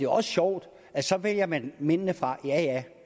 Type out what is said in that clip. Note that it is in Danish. også sjovt at så vælger man mændene fra ja ja